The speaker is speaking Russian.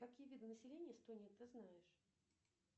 какие виды населения эстонии ты знаешь